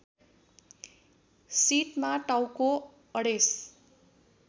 सिटमा टाउको अडेस